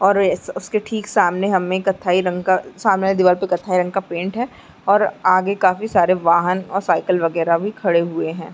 और इस इसके ठीक सामने हमें कत्थई रंग का सामने दीवार पर कत्थई रंग का पेंट है और आगे काफी सारे वाहन और साइकिल वगैरा भी खड़े हुए हैं।